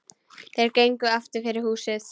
Þeir gengu aftur fyrir húsið.